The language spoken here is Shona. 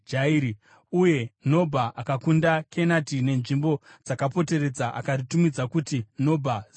Uye Nobha akakunda Kenati nenzvimbo dzakaripoteredza akaritumidza kuti Nobha zita rake.